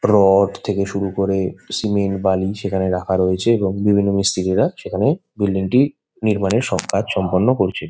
Rod থেকে শুরু করে সিমেন্ট বালি সেখানে রাখা রয়েছে এবং বিভিন্ন মিস্ত্রিরা সেখানে বিল্ডিং -টি নির্মাণের সব কাজ সম্পন্ন করছে।